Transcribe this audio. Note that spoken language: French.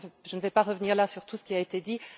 Je ne vais pas revenir là sur tout ce qui a été dit.